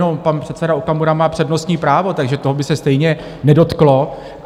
On pan předseda Okamura má přednostní právo, takže toho by se stejně nedotklo.